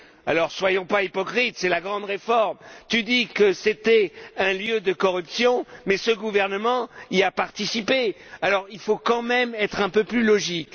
Alors ne soyons pas hypocrites, c'est la grande réforme. Tu dis que c'était un lieu de corruption, mais ce gouvernement y a participé. Alors, il faut quand même être un peu plus logique.